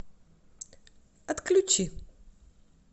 отключи